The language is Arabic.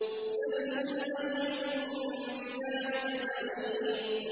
سَلْهُمْ أَيُّهُم بِذَٰلِكَ زَعِيمٌ